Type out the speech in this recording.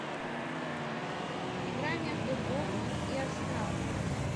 игра между борнмут и арсенал